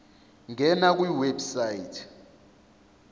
ngena kwi website